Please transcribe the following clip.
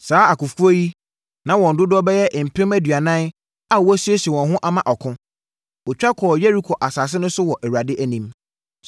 Saa akofoɔ yi, na wɔn dodoɔ bɛyɛ mpem aduanan a wɔasiesie wɔn ho ama ɔko. Wɔtwa kɔɔ Yeriko asase so wɔ Awurade anim.